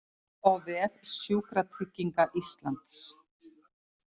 Sjá á vef Sjúkratrygginga Íslands